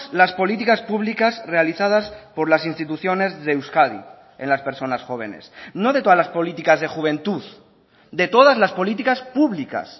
las políticas públicas realizadas por las instituciones de euskadi en las personas jóvenes no de todas las políticas de juventud de todas las políticas públicas